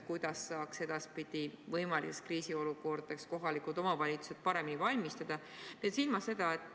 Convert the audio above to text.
Kuidas saaksid kohalikud omavalitsused edaspidi võimalikeks kriisiolukordadeks paremini valmistuda?